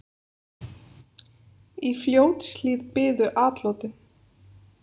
Í Fljótshlíð biðu atlotin.